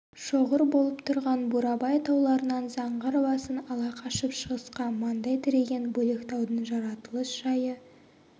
шоғыр болып тұрған бурабай тауларынан заңғар басын ала қашып шығысқа маңдай тіреген бөлектаудың жаратылыс жайы